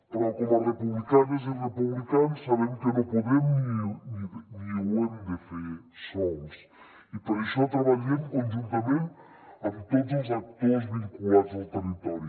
però com a republicanes i republicans sabem que no podem ni ho hem de fer sols i per això treballem conjuntament amb tots els actors vinculats al territori